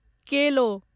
केलो